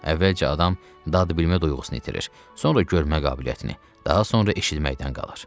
Əvvəlcə adam dadbilmə duyğusunu itirir, sonra görmə qabiliyyətini, daha sonra eşitməkdən qalar.